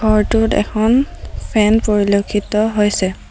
ঘৰটোত এখন ফেন পৰিলক্ষিত হৈছে।